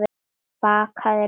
Bakaðir laukar